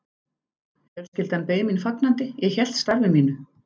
Fjölskyldan beið mín fagnandi, ég hélt starfi mínu.